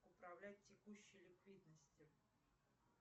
управлять текущей ликвидностью